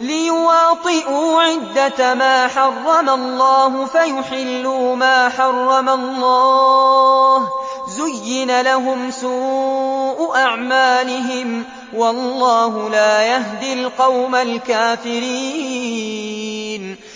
لِّيُوَاطِئُوا عِدَّةَ مَا حَرَّمَ اللَّهُ فَيُحِلُّوا مَا حَرَّمَ اللَّهُ ۚ زُيِّنَ لَهُمْ سُوءُ أَعْمَالِهِمْ ۗ وَاللَّهُ لَا يَهْدِي الْقَوْمَ الْكَافِرِينَ